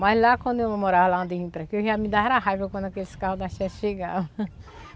Mas lá quando eu morava lá onde eu vim para aqui, eu já me dava raiva quando aqueles carros da chegava.